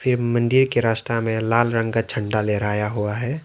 ये मंदिर के रास्ता में लाल रंग का झंडा लहराया हुआ है।